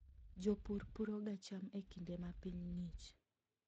Jopur puroga cham e kinde ma piny ng'ich.